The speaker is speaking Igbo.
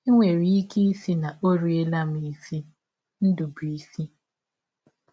E nwere ike ịsị na ọ riela m isi. — Ndụbụisi.